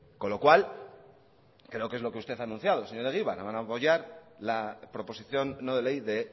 con lo cual creo que es lo que usted ha anunciado señor egibar van a apoyar la proposición no de ley de